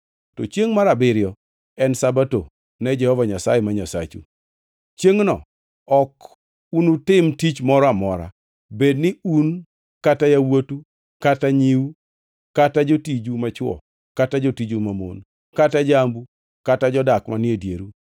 to chiengʼ mar abiriyo en Sabato ne Jehova Nyasaye ma Nyasachu. Chiengʼno ok unutim tich moro amora, bed ni un kata yawuotu kata nyiu kata jotiju machwo kata jotiju mamon kata jambu kata jodak manie dieru.